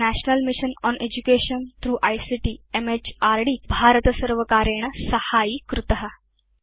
य national mission on education through ICT म्हृद् भारतसर्वकारेण साहाय्यीकृत